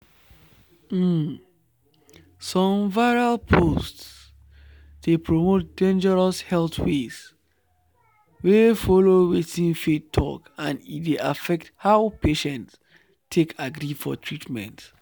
um some viral posts dey promote dangerous health ways wey follow wetin faith talk and e dey affect how patients take agree for treatment.”